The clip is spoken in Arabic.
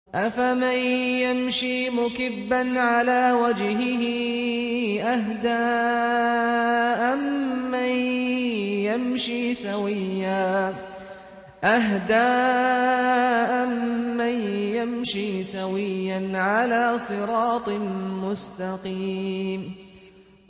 أَفَمَن يَمْشِي مُكِبًّا عَلَىٰ وَجْهِهِ أَهْدَىٰ أَمَّن يَمْشِي سَوِيًّا عَلَىٰ صِرَاطٍ مُّسْتَقِيمٍ